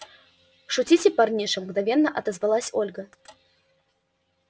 шутите парниша мгновенно отозвалась ольга